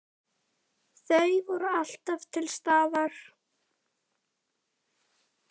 Hvíl í friði elsku systir.